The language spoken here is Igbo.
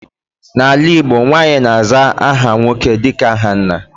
N'ala Igbo, nwaanyị na-aza aha nwoke dịka aha nna.